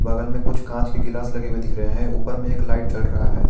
बगल में कुछ कांच के गिलास लगे हुए दिख रहे हैं ऊपर में एक लाइट जल रहा है।